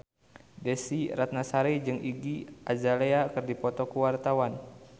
Desy Ratnasari jeung Iggy Azalea keur dipoto ku wartawan